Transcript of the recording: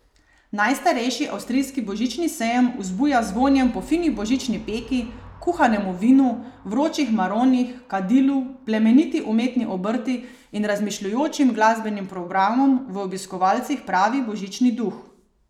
Najstarejši avstrijski božični sejem vzbuja z vonjem po fini božični peki, kuhanemu vinu, vročih maronih, kadilu, plemeniti umetni obrti in razmišljujočim glasbenim programom v obiskovalcih pravi božični duh.